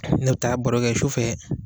Ne bi taa barokɛ su fɛ